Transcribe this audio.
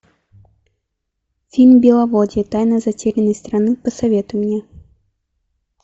фильм беловодье тайна затерянной страны посоветуй мне